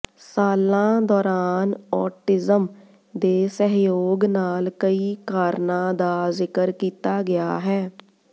ਸਾਲਾਂ ਦੌਰਾਨ ਔਟਿਜ਼ਮ ਦੇ ਸਹਿਯੋਗ ਨਾਲ ਕਈ ਕਾਰਨਾਂ ਦਾ ਜ਼ਿਕਰ ਕੀਤਾ ਗਿਆ ਹੈ